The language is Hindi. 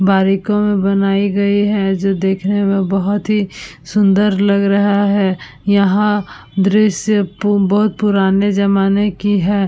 बारिकों में बनाई गई है जो देखने में बहोत ही सुंदर लग रहा है। यहाँ दृश्य पु बहोत पुराने जमाने की है।